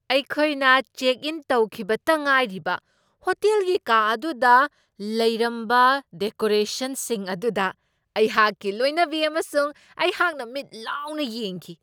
ꯑꯩꯈꯣꯏꯅ check in ꯇꯧꯈꯤꯕꯇ ꯉꯥꯏꯔꯤꯕ ꯍꯣꯇꯦꯜꯒꯤ ꯀꯥ ꯑꯗꯨꯗ ꯂꯩꯔꯝꯕ ꯗꯦꯀꯣꯔꯦꯁꯟꯁꯤꯡ ꯑꯗꯨꯗ ꯑꯩꯍꯥꯛꯀꯤ ꯂꯣꯏꯅꯕꯤ ꯑꯃꯁꯨꯡ ꯑꯩꯍꯥꯛꯅ ꯃꯤꯠ ꯂꯥꯎꯅ ꯌꯦꯡꯈꯤ꯫